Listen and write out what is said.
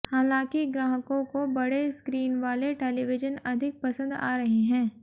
हालांकि ग्राहकों को बड़े स्क्रीन वाले टेलीविजन अधिक पसंद आ रहे हैं